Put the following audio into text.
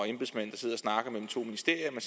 snakker mellem to ministerier